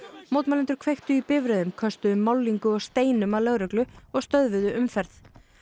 mótmælendur kveiktu í bifreiðum köstuðu málningu og steinum að lögreglu og stöðvuðu umferð